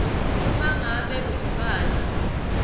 uma ngabe lomntfwana